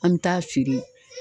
An bɛ taa feere